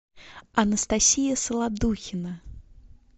анастасия солодухина